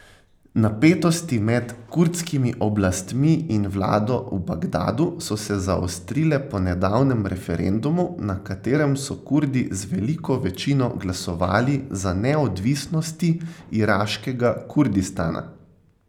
Napetosti med kurdskimi oblastmi in vlado v Bagdadu so se zaostrile po nedavnem referendumu, na katerem so Kurdi z veliko večino glasovali za neodvisnosti iraškega Kurdistana.